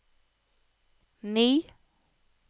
ni